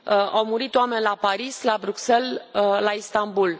Au murit oameni la Paris, la Bruxelles, la Istanbul.